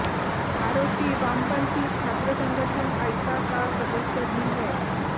आरोपी वामपंथी छात्र संगठन आइसा का सदस्य भी है